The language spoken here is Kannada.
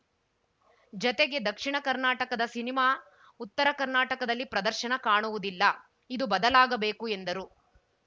ಜತೆಗೆ ದಕ್ಷಿಣ ಕರ್ನಾಟಕದ ಸಿನಿಮಾ ಉತ್ತರ ಕರ್ನಾಟಕದಲ್ಲಿ ಪ್ರದರ್ಶನ ಕಾಣುವುದಿಲ್ಲ ಇದು ಬದಲಾಗಬೇಕು ಎಂದರು